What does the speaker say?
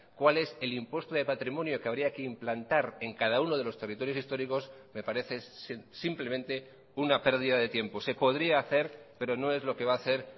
cuál es el impuesto de patrimonio que habría que implantar en cada uno de los territorios históricos me parece simplemente una pérdida de tiempo se podría hacer pero no es lo que va a hacer